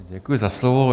Děkuji za slovo.